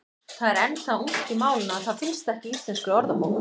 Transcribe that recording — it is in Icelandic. Það er enn það ungt í málinu að það finnst ekki í Íslenskri orðabók.